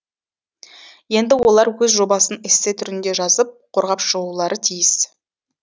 енді олар өз жобасын эссе түрінде жазып қорғап шығулары тиіс